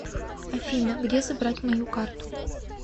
афина где забрать мою карту